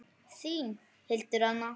Þín, Hildur Anna.